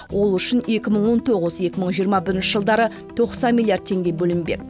ол үшін екі мың он тоғыз екі мың жиырма бірінші жылдары тоқсан миллиард теңге бөлінбек